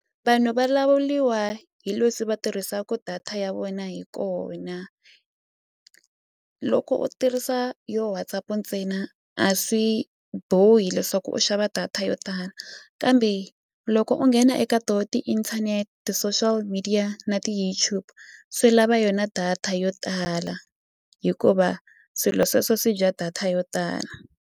Vanhu va lawuliwa hi leswi va tirhisaku data ya vona hi kona loko u tirhisa yo WhatsApp ntsena a swi bohi leswaku u xava data yo tala kambe loko u nghena eka to ti-internet, ti-social media na ti-YouTube swi lava yona data yo tala hikuva swilo sweswo swi dya data yo tala.